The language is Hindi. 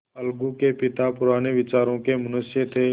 अलगू के पिता पुराने विचारों के मनुष्य थे